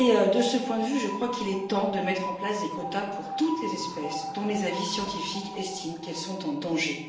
De ce point de vue, je crois qu'il est temps de mettre en place des quotas pour toutes les espèces que les avis scientifiques estiment en danger.